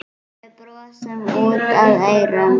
Við brosum út að eyrum.